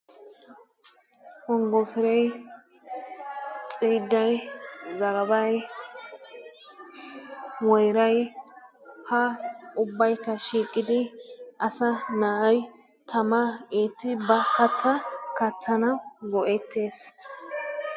Wonggofiray, xiidday, zagabay, woyray, ha ubbaykka shiiqqidi asaa na'ay tamaa eetti ba kattaa kattanawu go'ettees.